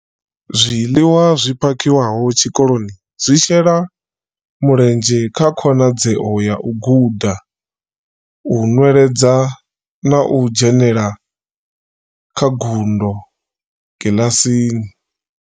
Zwiḽiwa zwi phakhiwaho tshikoloni zwi shela mulenzhe kha khonadzeo ya u guda, u nweledza na u dzhenela kha ngudo kiḽasini.